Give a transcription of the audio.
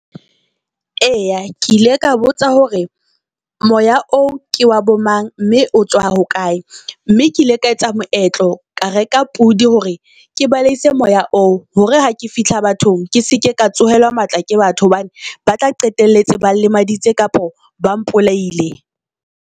Eya ke ile ka botsa hore moya oo ke wa bo mang, mme o tswa hokae. Mme ke ile ka etsa moetlo ka reka pudi hore ke baleise moya oo. Hore ha ke fihla bathong, ke se ke ka tsohelang matla ke batho hobane ba tla qetelletse ba nlemaditse kapa ba mpolaile.